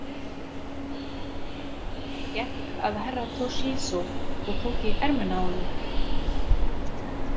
Hann gekk að Herra Toshizo og tók í ermina á honum.